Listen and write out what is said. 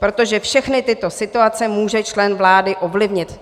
Protože všechny tyto situace může člen vlády ovlivnit.